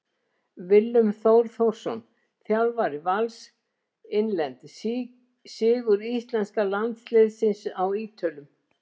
Willum Þór Þórsson Þjálfari Vals Innlent: Sigur íslenska landsliðsins á Ítölum.